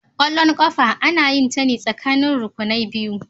Kwallon kafa ana yinta ne tsakanin rukunai biyu.